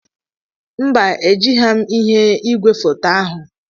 Mba, egihem m ihe igwefoto ahu.